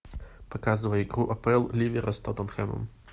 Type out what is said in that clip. показывай игру апл ливера с тоттенхэмом